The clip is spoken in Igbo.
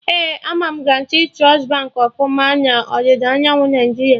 Ee, ama Guarantee Trust Baankị ọfụma na ọdịda anyanwụ Naijiria